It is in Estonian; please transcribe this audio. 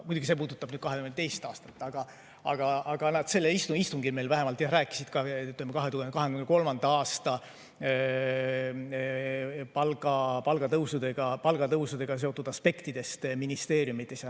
Muidugi, see puudutab 2022. aastat, aga nad sellel istungil rääkisid meile ka 2023. aasta palgatõusudega seotud aspektidest ministeeriumides.